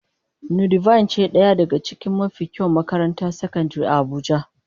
Nudivine ce daya daga cikin mafi kyawun makarantar sakandare a abuja.